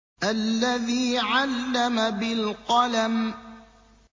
الَّذِي عَلَّمَ بِالْقَلَمِ